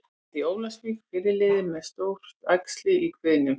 Áfall í Ólafsvík- Fyrirliðinn með stórt æxli í kviðnum